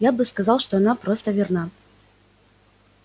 я бы сказал что она просто верна